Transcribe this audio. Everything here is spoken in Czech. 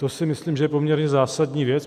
To si myslím, že je poměrně zásadní věc.